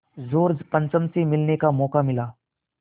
George पंचम से मिलने का मौक़ा मिला